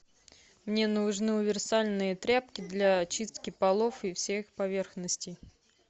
мне нужны универсальные тряпки для чистки полов и всех поверхностей